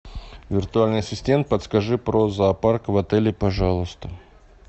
виртуальный ассистент подскажи про зоопарк в отеле пожалуйста